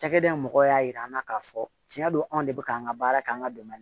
Cakɛda mɔgɔw y'a yira an na k'a fɔ tiɲɛ don anw de bɛ k'an ka baara kɛ an ka dɛmɛ